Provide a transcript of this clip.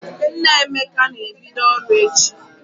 Nna Emeka ga-ebido ọrụ echi.